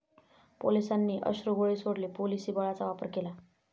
पोलिसांनी अश्रुगोळे सोडले, पोलिसी बळाचा वापर केला.